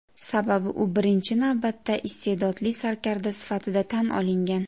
Sababi u birinchi navbatda iste’dodli sarkarda sifatida tan olingan.